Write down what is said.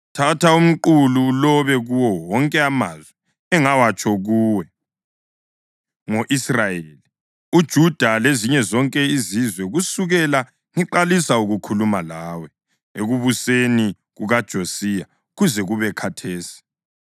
“Thatha umqulu ulobe kuwo wonke amazwi engawatsho kuwe ngo-Israyeli, uJuda lezinye zonke izizwe kusukela ngiqalisa ukukhuluma kuwe ekubuseni kukaJosiya kuze kube khathesi.